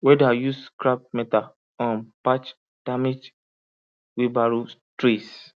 welder use scrap metal um patch damaged wheelbarrow trees